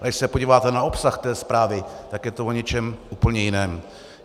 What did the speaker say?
A když se podíváte na obsah té zprávy, tak je to o něčem úplně jiném.